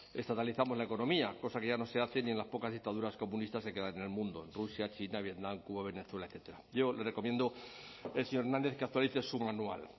estatalizamos la economía cosa que ya no se hace ni en las pocas dictaduras comunistas que quedan en el mundo rusia china vietnam cuba venezuela etcétera yo le recomiendo al señor hernández que actualice su manual